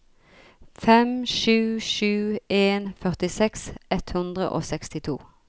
fem sju sju en førtiseks ett hundre og sekstito